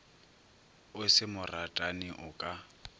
o se moratani o ka